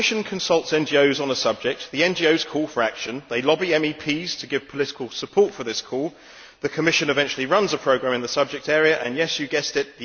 The Commission consults NGOs on a subject, the NGOs call for action, they lobby MEPs to give political support for this call, the Commission eventually runs a programme in the subject area and yes, you've guessed it!